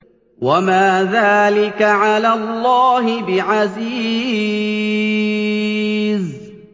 وَمَا ذَٰلِكَ عَلَى اللَّهِ بِعَزِيزٍ